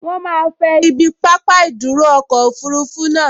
Wọ́n máa fẹ ibi pápá ìdúró ọkọ̀ òfurufú naa